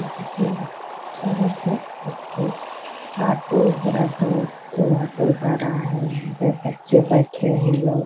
सड़क है इस पर ऑटो एक ऑटो दो ऑटो जा रहा है दो बच्चे बैठे हैं लोग --